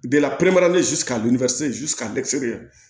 Bɛɛ la